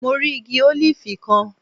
Mo rí igi ólífì kan